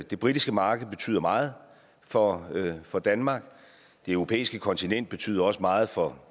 det britiske marked betyder meget for for danmark det europæiske kontinent betyder også meget for